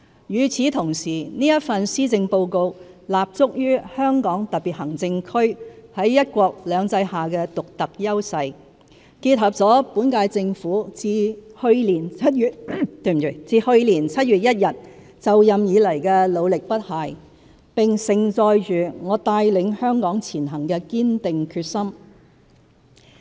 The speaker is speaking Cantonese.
與此同時，這份施政報告立足於香港特別行政區在"一國兩制"下的獨特優勢，結合了本屆政府自去年7月1日就任以來的努力不懈，並盛載着我帶領香港前行的堅定決心。